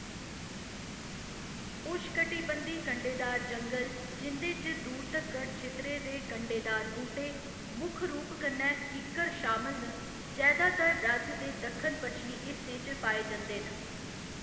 उशकटिबंधी कंडेदार जंगल, जिंदे च दूर तक्कर छितरे दे कंडेदार बूह्‌‌टे, मुक्ख रूप कन्नै किक्कर, शामल न, जैदातर राज्य दे दक्खन पचछमी हिस्सें च पाए जंदे न।